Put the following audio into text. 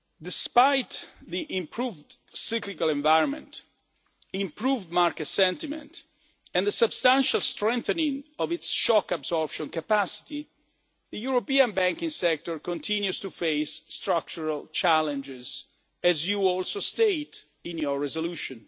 Despite the improved cyclical environment, improved market sentiment and the substantial strengthening of its shock absorption capacity, the European banking sector continues to face structural challenges, as you also state in your resolution.